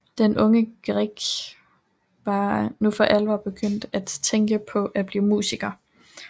Den unge Grieg var nu for alvor begyndt at tænke på at blive musiker